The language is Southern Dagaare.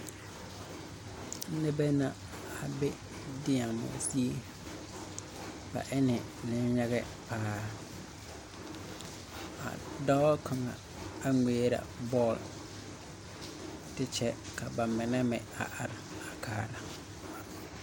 Nebɛ na a be diemo zie. Bɛ ene neyagɛ paaa. A dɔɔ kanga a ŋmɛrɛ bɔl. Te kyɛ ka a bɛ mene meŋ a are a kaara